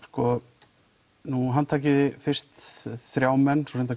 sko nú handtakið þið fyrst þrjá menn svo